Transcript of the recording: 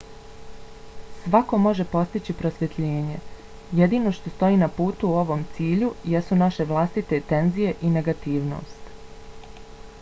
svako može postići prosvjetljenje. jedino što stoji na putu ovom cilju jesu naše vlastite tenzije i negativnost